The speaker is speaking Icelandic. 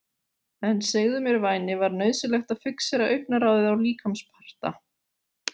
En segðu mér væni var nauðsynlegt að fixera augnaráðið á líkamsparta